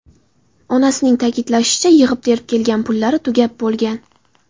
Onasining ta’kidlashicha, yig‘ib-terib kelgan pullari tugab bo‘lgan.